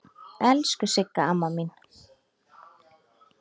Elsku Sigga amma mín.